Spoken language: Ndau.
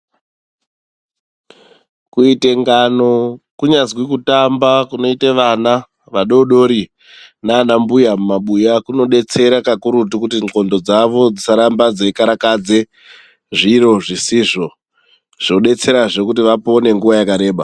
Kuite ngano kunyazwi kutamba kunoite vana vadodori nana mbuya mumabuya kunodetsera kakurutu kuti ndxondo dzawo dzisarambe dzeikarakadze zviro zvisizvo, zvodetserahe kuti vapone nguwa yakareba.